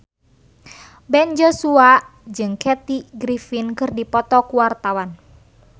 Ben Joshua jeung Kathy Griffin keur dipoto ku wartawan